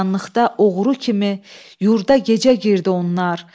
Qaranlıqda oğru kimi, yurda gecə girdi onlar.